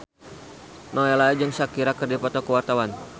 Nowela jeung Shakira keur dipoto ku wartawan